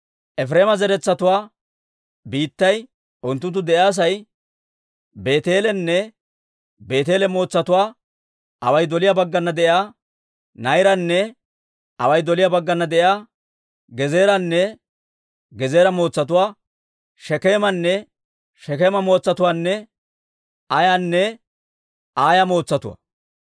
Efireema zaratuwaa biittay unttunttu de'iyaasay Beeteelenne Beeteele mootsatuwaa, away doliyaa baggana de'iyaa Na'iraana, away doliyaa baggana de'iyaa Gezeeranne Gezeera mootsatuwaa, Shekeemanne Shekeema mootsatuwaanne Aayanne Aaya mootsatuwaa.